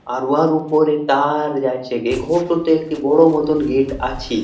আর উহার উপরে টাওয়ার আছে। এই ঘর টিতে একটি বড়ো মতো গেট আছে।